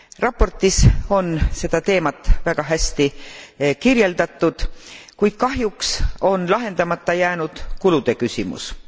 Raportis on seda teemat väga hästi kirjeldatud, kuid kahjuks on lahendamata jäänud kulude küsimus.